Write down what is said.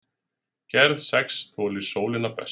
gerð sex þolir sólina best